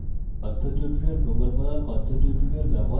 কথ্য tutorial প্রকল্প the